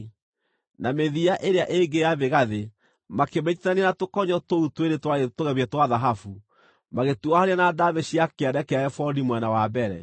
na mĩthia ĩrĩa ĩngĩ ya mĩgathĩ makĩmĩnyiitithania na tũkonyo tũu twĩrĩ twarĩ tũgemie twa thahabu, magĩtuohania na ndaamĩ cia kĩande kĩa ebodi mwena wa mbere.